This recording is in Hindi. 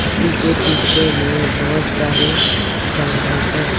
इसी के पीछे में बहुत सारे जंगल है।